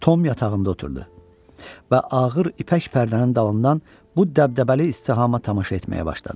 Tom yatağında oturdu və ağır ipək pərdənin dalından bu dəbdəbəli istihama tamaşa etməyə başladı.